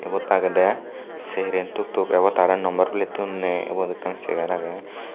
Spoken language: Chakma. ibot agedey seren tuk tuk ebotey parapang number plettun ney ubot ekkan segar agey.